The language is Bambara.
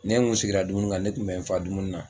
Ne n kun sigira dumuni kan ne tun bɛ n fa dumuni na.